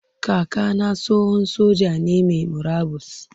Kaka na tsohon soja ne mai murabus.